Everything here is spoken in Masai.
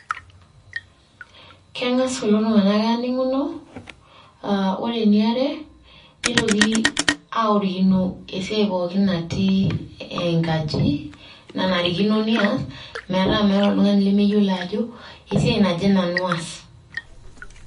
Keng'as kulo tung'anak aaning'uno, aa kore eniare, nitoki aworikino esiai pooki natii enkaji nanarikinoneas metaa meeta oltung'ani lemeyiolo ajo esia naje nanu aas.